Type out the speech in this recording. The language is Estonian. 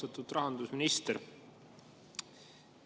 Austatud rahandusminister!